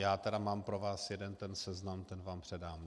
Já tedy mám pro vás jeden ten seznam, ten vám předám.